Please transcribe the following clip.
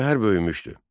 Şəhər böyümüşdü.